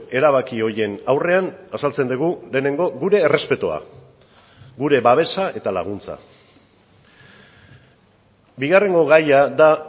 erabaki horien aurrean azaltzen dugu lehenengo gure errespetua gure babesa eta laguntza bigarrengo gaia da